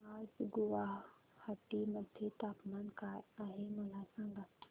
आज गुवाहाटी मध्ये तापमान काय आहे मला सांगा